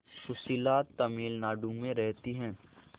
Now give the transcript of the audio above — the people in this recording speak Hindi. सुशीला तमिलनाडु में रहती है